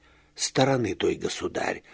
стороны той государь